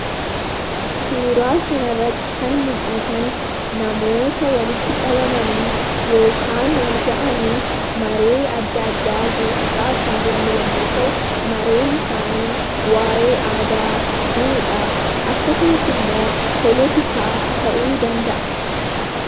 Suuraa kana irratti kan mul'atan namoota walitti qabamanii yookaan wal ga'anii maree adda addaa geessisaa kan jiran yemmuu ta'u, mareen isaanii waa'ee aadaa, duudhaa akkasumas siyaasaa ta'uu danda'a.